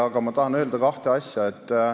Aga ma tahan öelda kahte asja.